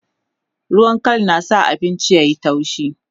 ruwan Kal na sa abinci yayi taushi